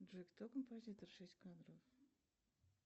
джой кто композитор шесть кадров